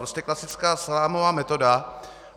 Prostě klasická salámová metoda.